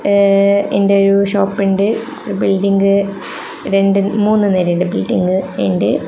ഏ എന്റെ ഒരു ഷോപ്പ് ഉണ്ട് ബിൽഡിംഗ് രണ്ട് മൂന്ന് നെലെന്റെ ബിൽഡിംഗ് ഉണ്ട്.